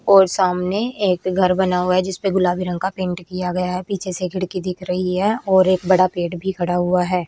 और सामने एक घर बना हुआ है जिस पे गुलाबी रंग का पेंट किया गया है पीछे से खिड़की दिख रही है और एक बड़ा पेड़ भी खड़ा हुआ है।